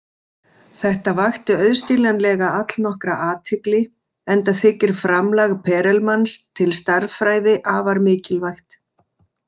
Þetta vakti auðskiljanlega allnokkra athygli, enda þykir framlag Perelmans til stærðfræði afar mikilvægt.